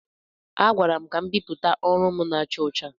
A gwara m ka m bipụta ọrụ m na-acha ọcha.